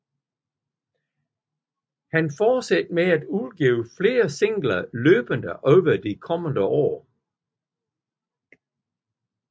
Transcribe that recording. Han fortsatte med at udgive flere singler løbende over de kommende år